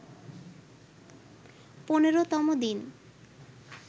১৫তম দিন